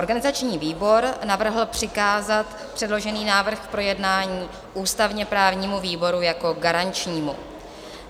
Organizační výbor navrhl přikázat předložený návrh k projednání ústavně-právnímu výboru jako garančnímu.